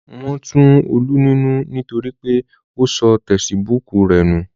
Wọn tu Olú nínú nítorí pé ó sọ tesibúùkù rẹ̀ nù